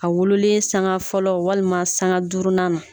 A wololen saŋa fɔlɔ walima saŋa duurunan na